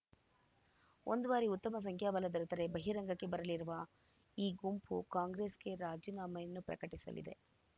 ಒಂದು ಬಾರಿ ಉತ್ತಮ ಸಂಖ್ಯಾಬಲ ದೊರೆತರೆ ಬಹಿರಂಗಕ್ಕೆ ಬರಲಿರುವ ಈ ಗುಂಪು ಕಾಂಗ್ರೆಸ್‌ಗೆ ರಾಜೀನಾಮೆಯನ್ನು ಪ್ರಕಟಿಸಲಿದೆ